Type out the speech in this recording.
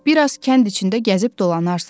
Bir az kənd içində gəzib dolanarsan.